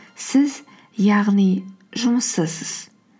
сіз яғни жұмыссызсыз